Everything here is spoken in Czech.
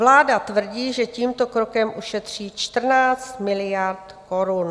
Vláda tvrdí, že tímto krokem ušetří 14 miliard korun.